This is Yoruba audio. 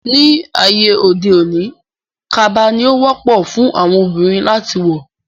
Ní ayé òde òní, kaba ni ó wọ́pọ̀ fún àwọn Obìnrin láti wọ̀